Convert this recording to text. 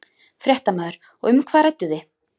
Fréttamaður: Og um hvað rædduð þið?